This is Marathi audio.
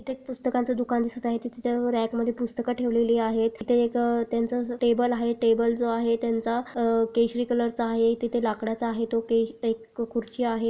इथे एक पुस्तकांचं दुकान दिसत आहे तिथे रॅक मध्ये पुस्तकं ठेवलेली आहे तिथे एक त्यांचं असं टेबल आहे टेबल जो आहे त्यांचा आ केशरी कलर चा आहे तेथे लाकडाचा आहे तो तेज तो खुर्ची आहे.